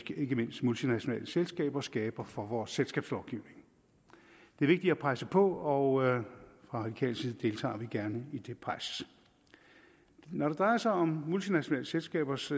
mindst multinationale selskaber skaber for vores selskabslovgivning det er vigtigt at presse på og fra radikal side deltager vi gerne i det pres når det drejer sig om multinationale selskabers